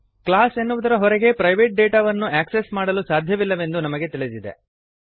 class ಎನ್ನುವುದರ ಹೊರಗೆ private ಡೇಟಾವನ್ನು ಆಕ್ಸೆಸ್ ಮಾಡಲು ಸಾಧ್ಯವಿಲ್ಲವೆಂದು ನಮಗೆ ತಿಳಿದಿದೆ